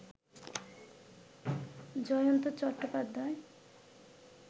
Jayanta Chattopadhyay